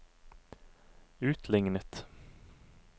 utlignet